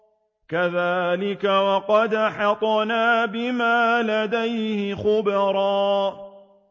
كَذَٰلِكَ وَقَدْ أَحَطْنَا بِمَا لَدَيْهِ خُبْرًا